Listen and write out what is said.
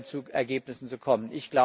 zu Ergebnissen zu kommen.